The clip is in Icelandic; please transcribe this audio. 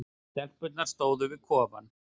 Stelpurnar stóðu við kofann.